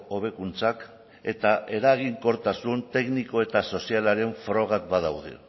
hobekuntzak eta eraginkortasun tekniko eta sozialaren frogak badaude